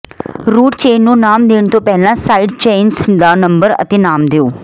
route chain ਨੂੰ ਨਾਮ ਦੇਣ ਤੋਂ ਪਹਿਲਾਂ ਸਾਈਡ ਚੇਨਸ ਦਾ ਨੰਬਰ ਅਤੇ ਨਾਮ ਦਿਓ